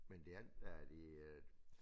Men det andet er de øh